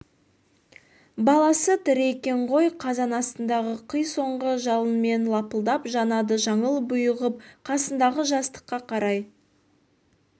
баласы тірі екен ғой қазан астындағы қи соңғы жалынымен лапылдап жанады жаңыл бұйығып қасындағы жастыққа қарай